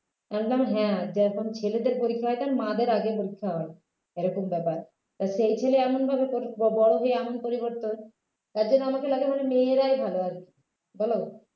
বলতাম হ্যাঁ যখন ছেলেদের পরীক্ষা হয় মায়েদের আগে পরীক্ষা হয় এরকম ব্যাপার আর সেই ছেলে এমনভাবে পরি বড় হয়ে এমন পরিবর্তন তার জন্য আমাকে লাগে মানে মেয়েরাই ভাল বলো